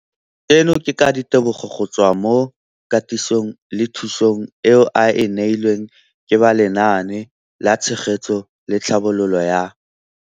Seno ke ka ditebogo go tswa mo katisong le thu song eo a e neilweng ke ba Lenaane la Tshegetso le Tlhabololo ya